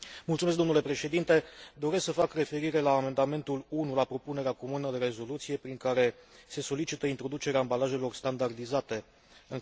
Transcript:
Doresc să fac referire la amendamentul 1 la propunerea comună de rezoluție prin care se solicită introducerea ambalajelor standardizate în cadrul pachetelor de țigări.